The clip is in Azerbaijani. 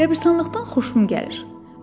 Qəbirstanlıqdan xoşum gəlir.